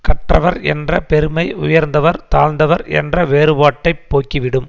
கற்றவர் என்ற பெருமை உயர்ந்தவர் தாழ்ந்தவர் என்ற வேறுபாட்டைப் போக்கிவிடும்